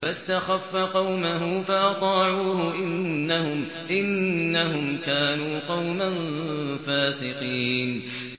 فَاسْتَخَفَّ قَوْمَهُ فَأَطَاعُوهُ ۚ إِنَّهُمْ كَانُوا قَوْمًا فَاسِقِينَ